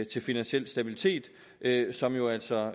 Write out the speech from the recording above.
til finansiel stabilitet som jo altså